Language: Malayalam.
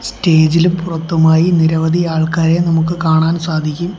സ്റ്റേജ് ഇലും പുറത്തുമായി നിരവധി ആൾക്കാരെ നമുക്ക് കാണാൻ സാധിക്കും.